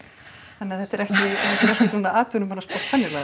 þannig að þetta er ekki svona